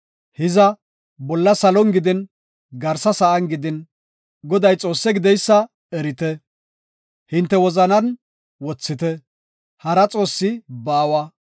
Hiza, bolla salon gidin, garsa sa7an gidin, Goday Xoosse gideysa erite; hinte wozanan wothite; hara xoossi baawa.